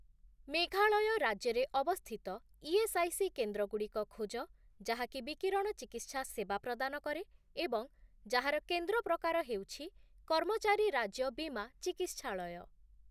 ମେଘାଳୟ ରାଜ୍ୟରେ ଅବସ୍ଥିତ ଇଏସ୍ଆଇସି କେନ୍ଦ୍ରଗୁଡ଼ିକ ଖୋଜ ଯାହାକି ବିକିରଣଚିକିତ୍ସା ସେବା ପ୍ରଦାନ କରେ ଏବଂ ଯାହାର କେନ୍ଦ୍ର ପ୍ରକାର ହେଉଛି କର୍ମଚାରୀ ରାଜ୍ୟ ବୀମା ଚିକିତ୍ସାଳୟ ।